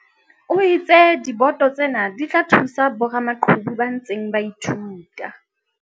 O itse diboto tsena di tla thusa boramaqhubu ba ntseng ba ithuta.